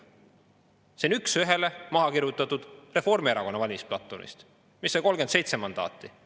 See on üks ühele maha kirjutatud Reformierakonna valimisplatvormist, mis sai 37 mandaati.